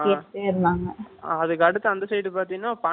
அதுக்கு அடுத்து, அந்த side பாத்தீங்கன்னா, பானி பூரி வச்சிருப்பாங்க